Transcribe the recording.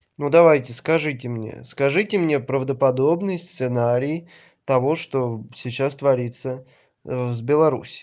ну давайте скажите мне скажите мне правда подобный сценарий того что сейчас творится в с беларусь